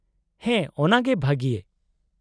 -ᱦᱮᱸ, ᱚᱱᱟᱜᱮ ᱵᱷᱟᱹᱜᱤ ᱾